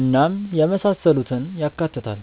እናም የመሳሰሉትን ያካትታል።